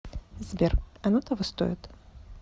сбер оно того стоит